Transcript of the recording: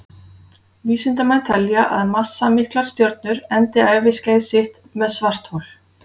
Vísindamenn telja að massamiklar stjörnur endi æviskeið sitt sem svarthol.